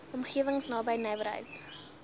omgewings naby nywerheids